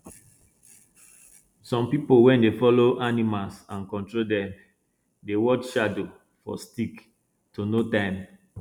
some people wen dey follow animals and control dem dey watch shadow for stick to know time